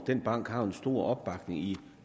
den bank har en stor opbakning i